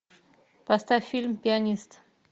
поставь фильм пианист